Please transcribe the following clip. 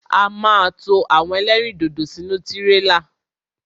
A ma to àwọn ẹlẹ́rìndòdò sínú tírélà.